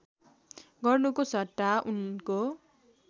गर्नुको सट्टा उनको